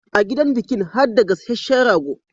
A gidan bikin harda gasashehen rago